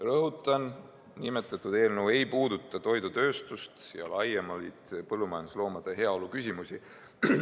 Rõhutan: nimetatud eelnõu ei puuduta toidutööstust ja laiemalt põllumajandusloomade heaolu küsimusi.